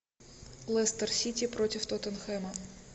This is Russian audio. лестер сити против тоттенхэма